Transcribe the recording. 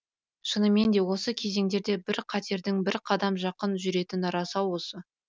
шыныменде осы кезеңдерде бір қатердің бір қадам жақын жүретіні рас ау осы